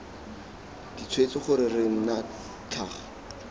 ditshwetso gore re nna tlhaga